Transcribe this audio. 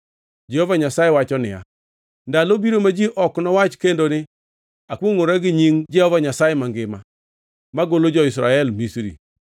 Jehova Nyasaye wacho niya, “Ndalo biro ma ji ok nowach kendo ni, ‘Akwongʼora gi nying Jehova Nyasaye mangima, manogolo jo-Israel Misri,’